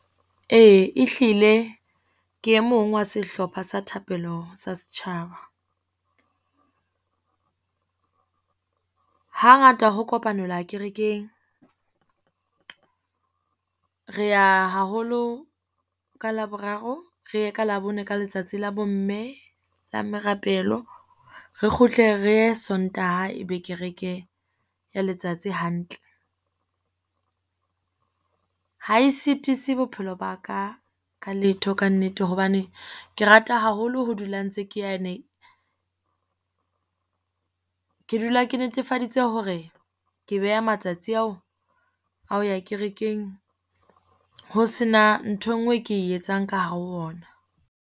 Ee ehlile ke e mong wa sehlopha sa thapelo sa setjhaba. Hangata ho kopanelwa kerekeng, re ya haholo ka Laboraro, re ye ka Labone ka letsatsi la bo mme la merapelo, re kgutle re e Sontaha e be kereke ya letsatsi hantle. Ha e sitise bophelo ba ka ka letho kannete hobane, ke rata haholo ho dula ntse ke yane. Ke dula ke netefaditse hore ke beha matsatsi ao a ho ya kerekeng ho sena ntho e nngwe e ke e etsang ka hare ho ona.